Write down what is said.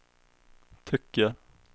tycker